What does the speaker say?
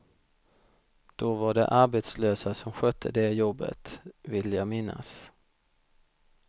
Då var det arbetslösa som skötte det jobbet, vill jag minnas.